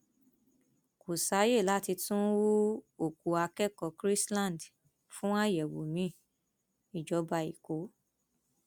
kò sáàyè láti tún hu òkú akẹkọọ chrisland fún àyẹwò miin ìjọba ẹkọ